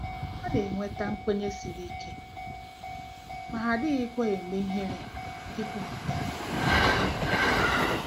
Ha na-enweta nkwenye siri ike, ma ha adịghịkwa eme ihere ikwupụta ha